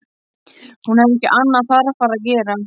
Hún hafði ekki annað þarfara að gera.